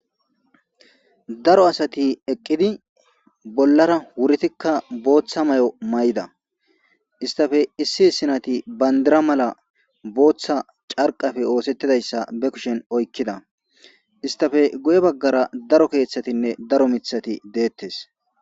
Daro asatti eqqidi bollara wureththika booththa may'o may'ida. Hesttappe issi issi nayti bandira mala booththa carqqarappe osettidayssa ba kuushshen oykkida.hesttappe guye baggara daro keththattinne daro miiththati de'ettes.